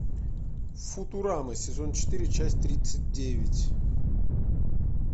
футурама сезон четыре часть тридцать девять